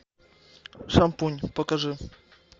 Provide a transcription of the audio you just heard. шампунь покажи